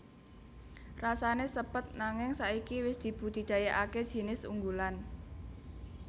Rasané sepet nanging saiki wis dibudidayakaké jinis unggulan